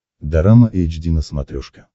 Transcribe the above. дорама эйч ди на смотрешке